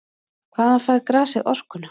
Hvaðan fær grasið orkuna?